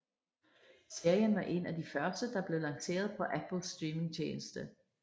Serien var en af de første der blev lanceret på Apples streamingstjeneste